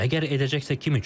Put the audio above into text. Əgər edəcəksə kim üçün?